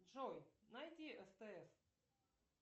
джой найди стс